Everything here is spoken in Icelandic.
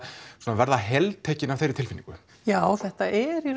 verða heltekinn af þeirri tilfinningu já þetta er í